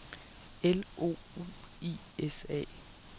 L O U I S A